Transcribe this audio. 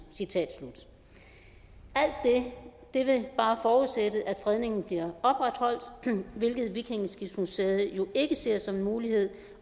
alt det vil bare forudsætte at fredningen bliver opretholdt hvilket vikingeskibsmuseet jo ikke ser som en mulighed